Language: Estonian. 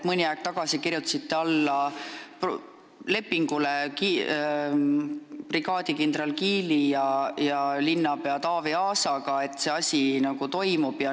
Mõni aeg tagasi kirjutasite alla lepingule brigaadikindral Kiili ja linnapea Taavi Aasaga, nii et see asi toimub.